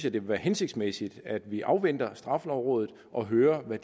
at det vil være hensigtsmæssigt at vi afventer straffelovrådet og hører hvad